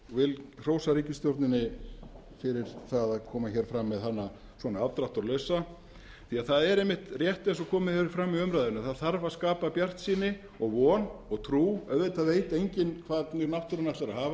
vil hrósa ríkisstjórninni fyrir að koma fram með hana svona afdráttarlausa því að það er svona rétt eins og komið hefur fram í umræðunni að það þarf að skapa bjartsýni og von og trú auðvitað veit enginn hvernig náttúran ætlar að hafa